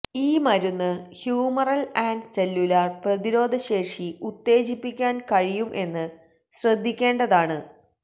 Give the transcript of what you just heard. ഈ മരുന്ന് humoral and cellular പ്രതിരോധശേഷി ഉത്തേജിപ്പിക്കാൻ കഴിയും എന്ന് ശ്രദ്ധിക്കേണ്ടതാണ്